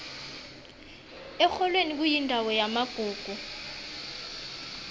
erholweni kuyindawo yamagugu